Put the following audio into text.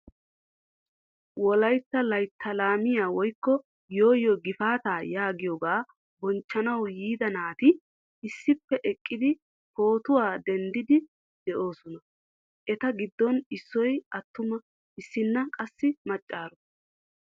Wollaytta layttaa laamiyaa woykko yooyoo gifaataa yaagiyoogaa bonchchanawu yiida naati issippe eqqidi pootuwaa denddiidi de'oosona. Eta giddon issoy attuma issinna qassi maccaaro.